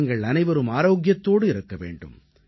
நீங்கள் அனைவரும் ஆரோக்கியத்தோடு இருக்க வேண்டும்